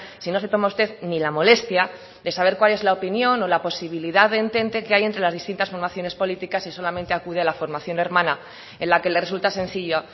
si no se toma usted ni la molestia de saber cuál es la opinión o la posibilidad de entente que hay entre las distintas formaciones políticas y solamente acude a la formación hermana en la que le resulta sencillo